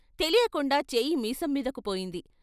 తెలియకుండా చేయి మీసం మీదకు పోయింది.